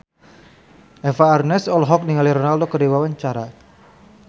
Eva Arnaz olohok ningali Ronaldo keur diwawancara